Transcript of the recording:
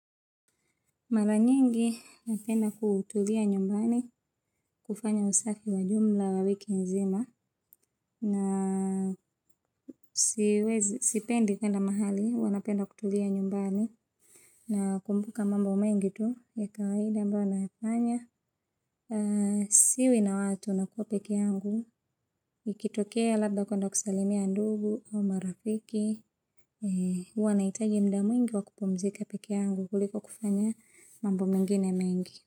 Mara nyingi napenda kutulia nyumbani kufanya usafi wa jumla wa wiki nzima na siwezi sipendi kuenda mahali huwa napenda kutulia nyumbani na kumbuka mambo mengi tu ya kawaida ambayo nayafanya siwi na watu nakua peke yangu ikitokea labda kuenda kusalimia ndugu au marafiki uwanaitaji muda mwingi wakupumzika peke yangu kuliko kufanya mambo mengine mengi.